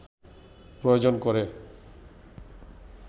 প্রয়োজন করে